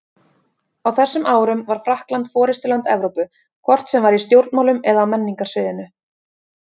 Á þessum árum var Frakkland forystuland Evrópu, hvort sem var í stjórnmálum eða á menningarsviðinu.